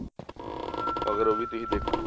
ਅਗਰ ਉਹ ਵੀ ਤੁਸੀਂ ਦੇਖੋ